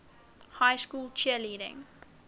high school cheerleading